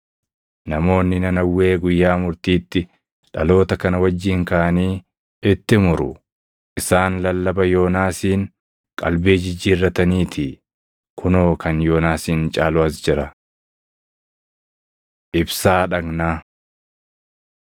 Namoonni Nanawwee guyyaa murtiitti dhaloota kana wajjin kaʼanii itti muru; isaan lallaba Yoonaasiin qalbii jijjiirrataniitii; kunoo kan Yoonaasin caalu as jira. Ibsaa Dhagnaa 11:34,35 kwf – Mat 6:22,23